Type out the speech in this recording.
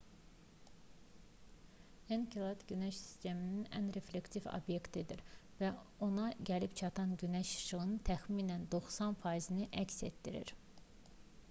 enkelad günəş sistemində ən reflektiv obyektdir və ona gəlib çatan günəş işığının təxminən 90 faizini əks etdirir